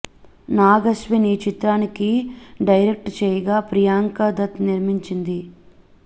నాగ్ అశ్విన్ ఈ చిత్రానికి డైరెక్ట్ చేయగా ప్రియాంక దత్ నిర్మించింది